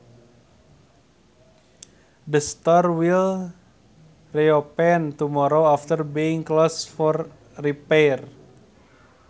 The store will reopen tomorrow after being closed for repairs